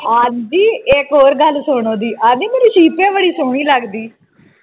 ਆਉਂਦੀ ਇੱਕ ਹੋਰ ਗੱਲ ਸੁਣ ਉਹਦੀ ਆਉਂਦੀ ਮੇਰੀ ਸੀਪੇ ਬੜੀ ਸੋਹਣੀ ਲੱਗਦੀ